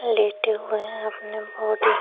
लेटे हुए है अपने बॉडी --